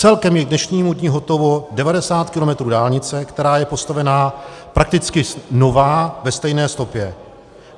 Celkem je k dnešnímu dni hotovo 90 km dálnice, která je postavená prakticky nová ve stejné stopě.